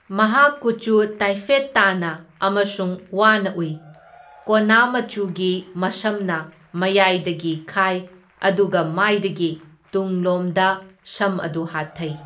ꯃꯍꯥꯛ ꯀꯨꯆꯨ ꯇꯥꯏꯐꯦꯠ ꯇꯥꯅ ꯑꯃꯁꯨꯡ ꯋꯥꯅ ꯎꯏ, ꯀꯣꯟꯅꯥ ꯃꯆꯨꯒꯤ ꯃꯁꯝꯅ ꯃꯌꯥꯏꯗꯒꯤ ꯈꯥꯏ ꯑꯗꯨꯒ ꯃꯥꯏꯗꯒꯤ ꯇꯨꯡꯂꯣꯝꯗꯣꯝꯗ ꯁꯝ ꯑꯗꯨ ꯍꯥꯠꯊꯩ꯫